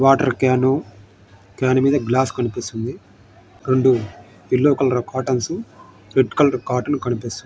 Water can . Can మీద glass కనిపిస్తుంది. రెండు yellow colour curtains red colour curtains --